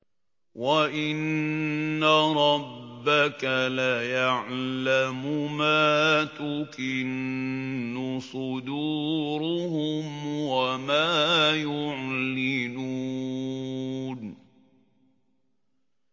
وَإِنَّ رَبَّكَ لَيَعْلَمُ مَا تُكِنُّ صُدُورُهُمْ وَمَا يُعْلِنُونَ